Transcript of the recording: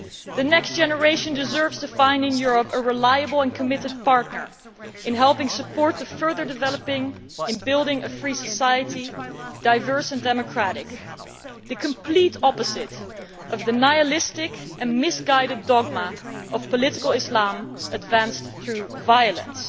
The next generation deserves to find in Europe a reliable and committed partner in helping support further development, in building a free society, diverse and democratic, the complete opposite of the nihilistic and misguided dogma of political Islam advanced through violence.